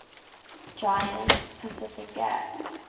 giant pacific gas